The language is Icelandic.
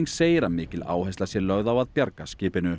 segir að mikil áhersla sé lögð á að bjarga skipinu